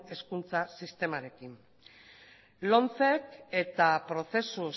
hezkuntza sistemarekin lomcek eta prozesu